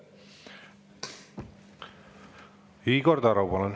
Igor Taro, palun!